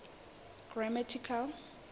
grammatical